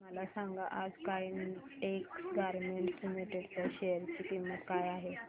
मला सांगा आज काइटेक्स गारमेंट्स लिमिटेड च्या शेअर ची किंमत काय आहे